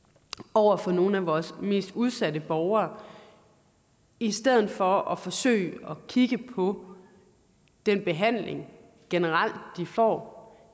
over for nogle af vores mest udsatte borgere i stedet for at forsøge at kigge på den behandling de generelt får